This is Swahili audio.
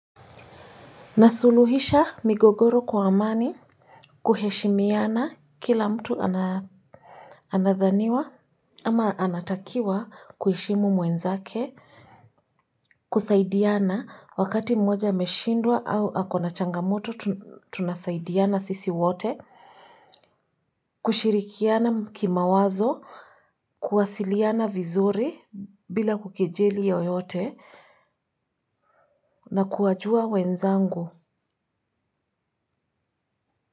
Nasuluhisha migogoro kwa amani kuheshimiana kila mtu anadhaniwa ama anatakiwa kuheshimu mwenzake kusaidiana wakati mmoja ameshindwa au akona changamoto tunasaidiana sisi wote kushirikiana kimawazo, kuwasiliana vizuri bila kukijeli ya yeyote na kuwajua wenzangu.